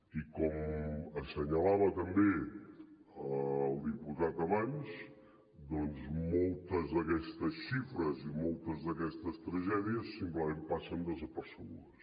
i com assenyalava també el diputat abans moltes d’aquestes xifres i moltes d’aquestes tragèdies simplement passen desapercebudes